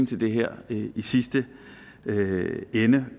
til det her i sidste ende